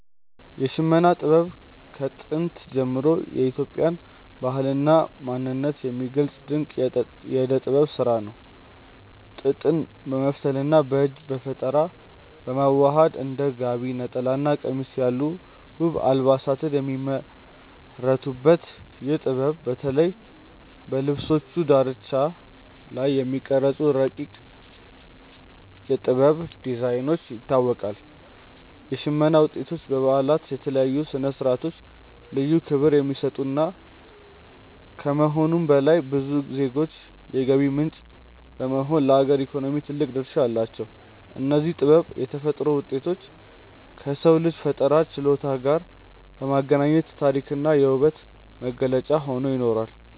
የሽመና ጥበብ ከጥንት ጀምሮ የኢትዮጵያን ባህልና ማንነት የሚገልጽ ድንቅ የእደ ጥበብ ስራ ነው። ጥጥን በመፍተልና በእጅ በፈጠራ በማዋሃድ እንደ ጋቢ፣ ነጠላና ቀሚስ ያሉ ውብ አልባሳት የሚመረቱበት ይህ ጥበብ፣ በተለይ በልብሶቹ ዳርቻ ላይ በሚሰሩት ረቂቅ የ"ጥበብ" ዲዛይኖች ይታወቃል። የሽመና ውጤቶች ለበዓላትና ለተለያዩ ስነ-ስርዓቶች ልዩ ክብር የሚሰጡ ከመሆኑም በላይ፣ ለብዙ ዜጎች የገቢ ምንጭ በመሆን ለሀገር ኢኮኖሚ ትልቅ ድርሻ አላቸው። ይህ ጥበብ የተፈጥሮ ውጤቶችን ከሰው ልጅ የፈጠራ ችሎታ ጋር በማገናኘት የታሪክና የውበት መገለጫ ሆኖ ይኖራል።